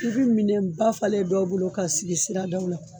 I bi minɛn ba falen ye dɔw bolo ka sigi siradaw la